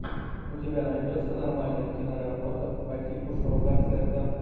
у тебя найдется нормальная киноработа по типу шоу концерта